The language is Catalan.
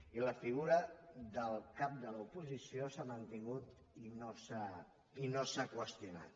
i la figura del cap de l’oposició s’ha mantingut i no s’ha qüestionat